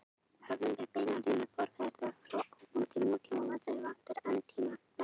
Höfum við beina línu forfeðra frá öpum til nútímamanns eða vantar enn týnda hlekkinn?